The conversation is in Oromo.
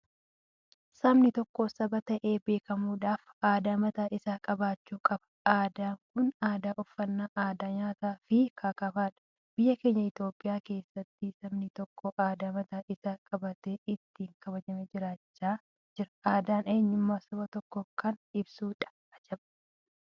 Sabni tokko saba ta'ee beekamuudhaaf aadaa mataa isaa qabaachuu qaba aadaan kunis aadaa uffannaa, aadaa nyaata fi kkf dha. Biyya keenya Itoophiyaa keessatti sabni tokko aadaa mataa isaa qabaatee ittin kabajamee jiraachaa jira. Aadaan eenyummaa saba tokkoo kan ibsudha ajab!